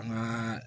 An ka